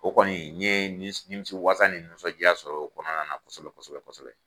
O kɔni n ye nimisiwasa ni nisɔndiya sɔrɔ o kɔnɔna na kosɛbɛ kosɛbɛ kosɛbɛ kosɛbɛ.